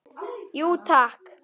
Jú takk!